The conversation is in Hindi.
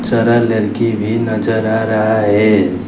सारा लड़की भी नजर आ रहा है।